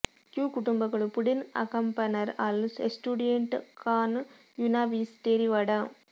Q ಕುಟುಂಬಗಳು ಪುಡೆನ್ ಆಂಕಾಪನರ್ ಅಲ್ ಎಸ್ಟೂಡಿಯಂಟ್ ಕಾನ್ ಯುನಾ ವೀಸಾ ಡೆರಿವಡಾ